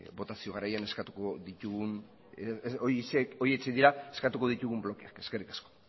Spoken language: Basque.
botazio garaian eskatuko ditugun blokeak eskerrik asko